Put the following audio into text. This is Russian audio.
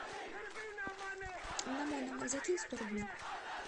на мой номер закинь сто рублей